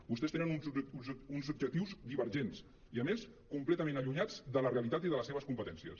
vostès tenen uns objectius divergents i a més completament allunyats de la realitat i de les seves competències